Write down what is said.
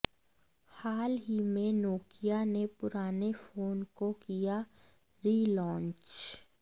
हाल ही में नोकिया ने पुराने फोन को किया रीलॉन्च